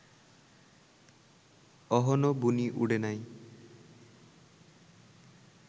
অহনো বুনি উডে নাই